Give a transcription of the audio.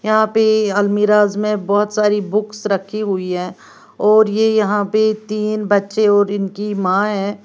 यहां पे अलमीराज में बहुत सारी बुक्स रखी हुई है और यह यहां पे तीन बच्चे और इनकी मां है।